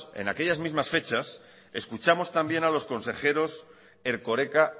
en aquellas mismas fechas escuchamos también a los consejeros erkoreka